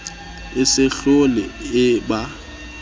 e se hlole e ba